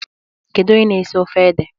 Kedu onye na-esi ofe ede?